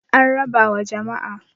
an raba wa jama'a